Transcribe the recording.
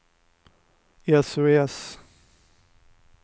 sos